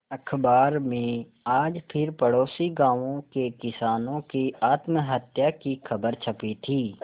अखबार में आज फिर पड़ोसी गांवों के किसानों की आत्महत्या की खबर छपी थी